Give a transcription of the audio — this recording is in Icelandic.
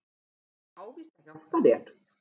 Ég á víst að hjálpa þér.